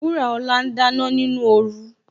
Wuraola ń dáná nínú oru